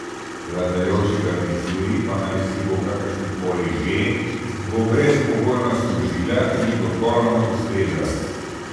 Vladajoči garnituri, pa najsibo kakršnakoli že, bo brezpogojno služila in ji popolnoma ustreza.